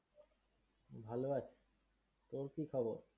ভালো আছি। তর কি খবর?